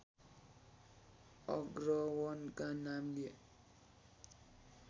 अग्रवनका नामले